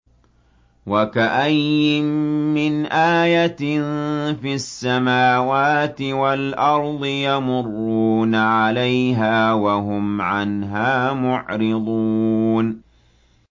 وَكَأَيِّن مِّنْ آيَةٍ فِي السَّمَاوَاتِ وَالْأَرْضِ يَمُرُّونَ عَلَيْهَا وَهُمْ عَنْهَا مُعْرِضُونَ